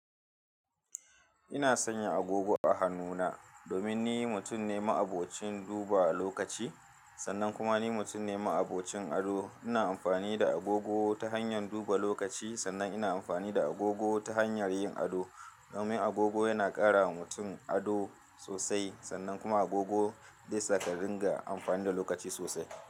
Ina sanya agogo a hannuna domin ni mutum ne ma'abocin duba lokaci, sannan kuma ni mutum ne ma'abocin ado. Ina amfani da agogo ta hanyar duba lokaci, sannan ina amfani da agogo ta hanyar yin ado. Domin agogo yana ƙara wa mutum ado sosai, sannan kuma agogo dai sa ƙarin ga amfani da lokaci sosai.